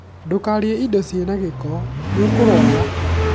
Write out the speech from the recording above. ndũkarĩe indo ciri na gĩko, nĩũkũrwara